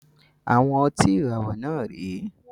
Àwọn ọtí ìràwọ̀ náà rè é